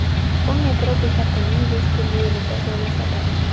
U metro bekatining vestibyulida joylashadi.